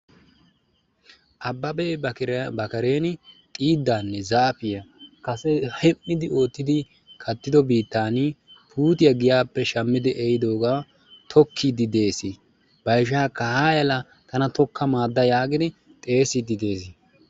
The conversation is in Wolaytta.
Ababe ba kareni xidane zaafiyaa kase hem'idi oottidi kattido biittani kase puutiyaa giyape shammidi ehidoga tokkidi de'ees. Ba ishakka haya la tana tokka maada yaagidi xeesidi de'ees.